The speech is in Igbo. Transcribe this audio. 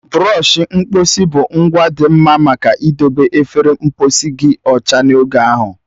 Bụrọshi mkposi bụ ngwa dị mma maka idobe efere mposi gị ọcha n'oge ahụ.